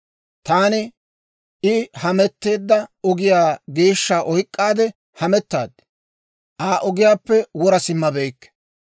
Taani I hametteedda ogiyaa geeshsha oyk'k'aade hamettaad; Aa ogiyaappe wora simmabeykke.